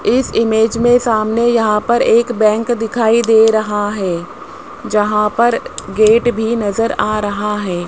इस इमेज में सामने यहां पर एक बैंक दिखाई दे रहा है जहां पर गेट भी नजर आ रहा है।